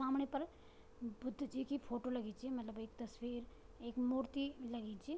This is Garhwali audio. सामणे पर बुद्ध जी की फोटो लगीं च मलब एक तस्वीर एक मूर्ति लगीं च।